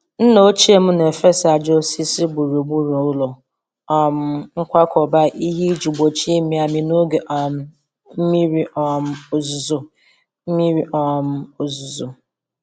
Nna ochie m na-efesa ájá osisi gburugburu ụlọ um nkwakọba ihe iji gbochie ịmị amị n’oge um mmiri um ozuzo. mmiri um ozuzo.